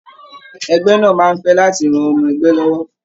Ẹgbẹ náà máa n fẹ láti ràn ọmọ ẹgbẹ lọwọ.